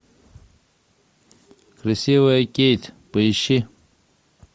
красивая кейт поищи